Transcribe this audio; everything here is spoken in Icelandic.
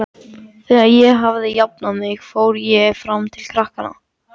Þegar ég hafði jafnað mig fór ég fram til krakkanna.